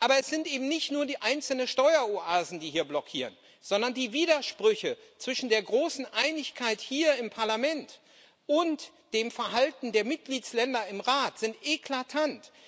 Aber es sind eben nicht nur die einzelnen Steueroasen, die hier blockieren, sondern die Widersprüche zwischen der großen Einigkeit hier im Parlament und dem Verhalten der Mitgliedstaaten im Rat sind eklatant.